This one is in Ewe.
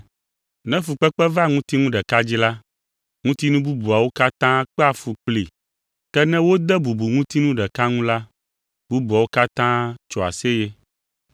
Ne fukpekpe va ŋutinu ɖeka dzi la, ŋutinu bubuawo katã kpea fu kplii, ke ne wode bubu ŋutinu ɖeka ŋu la, bubuawo katã tsoa aseye.